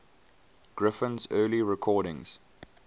griffin's early recordings